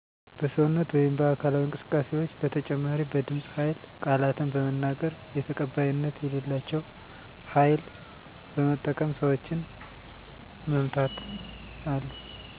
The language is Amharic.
በሰውነት ወይም በአካላዊ እንስቅስቃሴዎች በተጨማሪ በድምፅ ሀይል ቃላትን በመናገር የተቀባይነት የሌላቸው ሀይል በመጠቀም ሰዎችን መምታት አሉ።